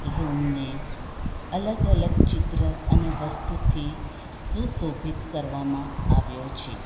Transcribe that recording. રૂમને અલગ અલગ ચિત્ર અને વસ્તુથી સુશોભિત કરવામાં આવ્યો છે.